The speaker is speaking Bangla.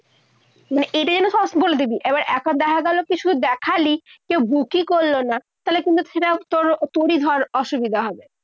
মানে এটা যেন বলে দিবি। এবার দেখা গেলো কি শুধু দেখালি, book ই করলো না। তাহলে কিন্তু সেটা তোর তোরই ধর অসুবিধা হবে।